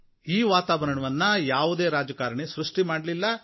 ಈ ವಾತಾವರಣವನ್ನು ಯಾವುದೇ ರಾಜಕಾರಣಿ ಸೃಷ್ಟಿ ಮಾಡ್ಲಿಲ್ಲ